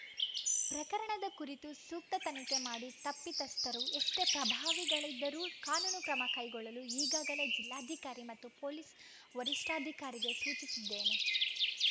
ಪ್ರಕರಣದ ಕುರಿತು ಸೂಕ್ತ ತನಿಖೆ ಮಾಡಿ ತಪ್ಪಿತಸ್ಥರು ಎಷ್ಟೇ ಪ್ರಭಾವಿಗಳಿದ್ದರೂ ಕಾನೂನು ಕ್ರಮ ಕೈಗೊಳ್ಳಲು ಈಗಾಗಲೇ ಜಿಲ್ಲಾಧಿಕಾರಿ ಮತ್ತು ಪೊಲೀಸ್‌ ವರಿಷ್ಠಾಧಿಕಾರಿಗೆ ಸೂಚಿಸಿದ್ದೇನೆ